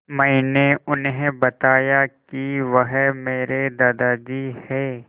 मैंने उन्हें बताया कि वह मेरे दादाजी हैं